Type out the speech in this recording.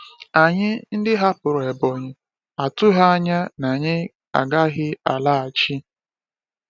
Anyị ndị hapụrụ Ebonyi atụghị anya na anyị agaghị alaghachi.